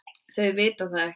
Þau vita það ekki sjálf.